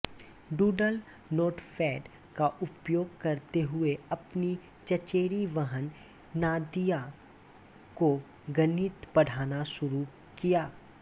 doodle notepad का उपयोग करते हुए अपनी चचेरी बहन नादिया को गणित पढ़ाना शुरू किया